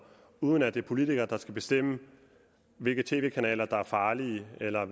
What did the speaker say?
uden at det er politikere der skal bestemme hvilke tv kanaler der er farlige eller